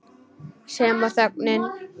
Sem og þögnin.